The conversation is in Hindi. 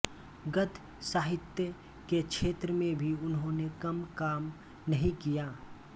गद्य साहित्य के क्षेत्र में भी उन्होंने कम काम नहीं किया